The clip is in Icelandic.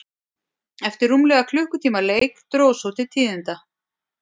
Eftir rúmlega klukkutíma leik dró svo til tíðinda.